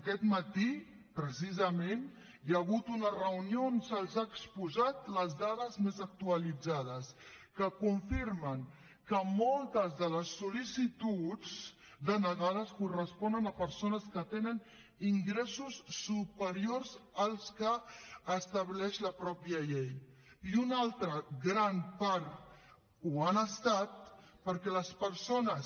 aquest matí precisament hi ha hagut una reunió on se’ls han exposat les dades més actualitzades que confirmen que moltes de les sol·licituds denegades corresponen a persones que tenen ingressos superiors als que estableix la mateixa llei i una altra gran part ho han estat perquè les persones